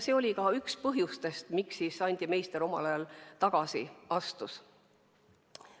See oli ka üks põhjus, miks Andi Meister omal ajal tagasi astus.